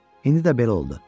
İndi də belə oldu.